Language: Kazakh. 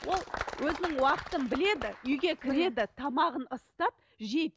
ол өзінің уақытын біледі үйге кіреді тамағын ысытады жейді